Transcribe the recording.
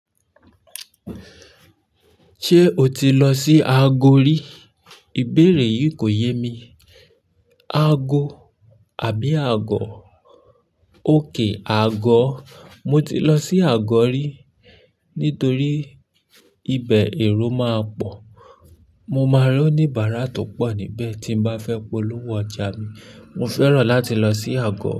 "Ṣé o ti lọ sí Ago rí?" Ìbéèrè yìí kò yé mi. Ago àbí Agọ? OK, Agọ. Mo ti lọ sí àgọ́ rí nítorí ibẹ̀ èrò máa pọ̀. Mo máa rí oníbàárà tó pọ̀ níbẹ̀ tí mo bá fẹ́ polówó ọjà mi. Mo fẹ́ràn láti lọ sí Agọ.